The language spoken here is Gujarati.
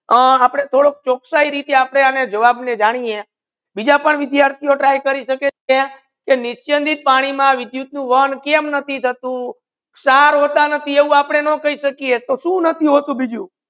અમ આપડે થડુક ચોકસાઈ રીતે આપને આને જવાબ ને જાનીયે બીજા પણ વિધાર્થીઓ ટ્રાય કરી શેકે છે નીચે થી પાણી માં વિદ્યુત નુ વહન કેમ નથી થતુ સાર હોતા નથી એવુ આપડે ના કહી સકીયે તો શુ નથી હોતુ બીજુ